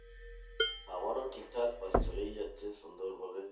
আমারও ঠিকঠাক ব্যাস চলেই যাচ্ছে সুন্দর ভাবে।